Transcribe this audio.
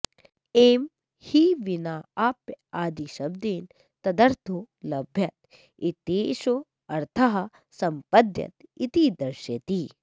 एं हि विनाऽप्यादिशब्देन तदर्थो लभ्यत इत्येषोऽर्थः सम्पद्यत इति दर्शयति